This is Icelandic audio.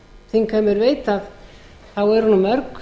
þingheimur veit þá eru mörg